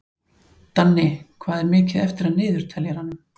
Danni, hvað er mikið eftir af niðurteljaranum?